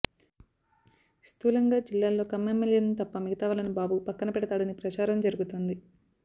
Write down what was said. స్థూలంగా జిల్లాలో కమ్మ ఎమ్మెల్యేలను తప్ప మిగతావాళ్లను బాబు పక్కన పెడతాడని ప్రచారం జరుగుతోంది